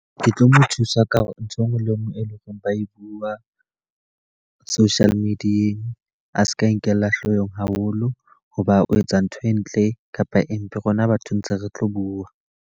Ke tlo mo thusa ka hore ntho e nngwe le e nngwe e leng hore ba e bua social media-eng, a seke a nkella hloohong haholo. Ho ba o etsa ntho e ntle kapa empe rona batho ntse re tlo bua.